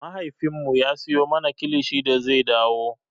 Mahaifinmu ya siyo mana kilishi da zai dawo.